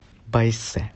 байсэ